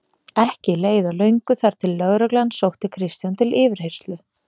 Ekki leið á löngu þar til lögreglan sótti Kristján til yfirheyrslu.